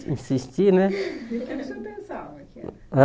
Insistir né E o que é que o senhor pensava que era?